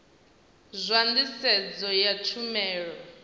zwa nḓisedzo ya tshumelo na